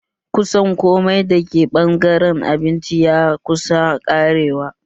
Kusan komai da ke ɓangaren abinci ya kusa ƙarewa